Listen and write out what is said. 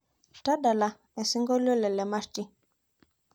tadala esiongolio le lemarti